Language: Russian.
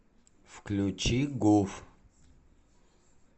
включи гуф